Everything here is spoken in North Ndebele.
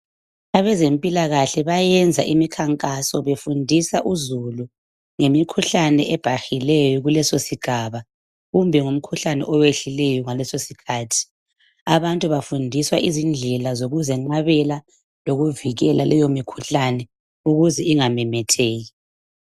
Abezempilakahle bayenza imikhankaso befundisa uzulu ngemikhuhlane ebhahileyo kuleso sigaba kumbe ngumkhuhlane owehlileyo ngaleso sikhathi, abantu bafundiswa izindlela zokuzenqabela lokuvikela leyo mikhuhlane ukuze ingamemetheki.